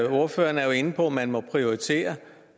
ordføreren er jo inde på at man må prioritere